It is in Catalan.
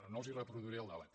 no els reproduiré el debat